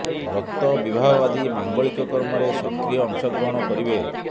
ବ୍ରତ ବିବାହ ଆଦି ମାଙ୍ଗଳିକ କର୍ମରେ ସକ୍ରିୟ ଅଂଶ ଗ୍ରହଣ କରିବେ